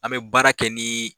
An mɛ baara kɛ ni